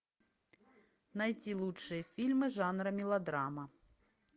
найти лучшие фильмы жанра мелодрама